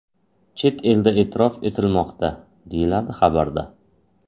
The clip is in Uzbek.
Chet elda e’tirof etilmoqda”, deyiladi xabarda.